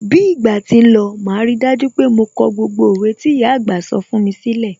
Bí ìgbà tí ń lọ, màá rí dájú pé mo kọ gbogbo òwe tí ìyà àgbà sọ fún mi sílẹ̀.